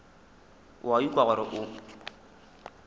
o a ikwa gore o